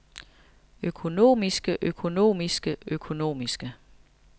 økonomiske økonomiske økonomiske